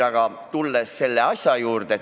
Aga tulen nüüd asja juurde.